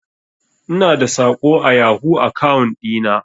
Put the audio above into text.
Ina da saƙo a yahoo akaun ɗi na.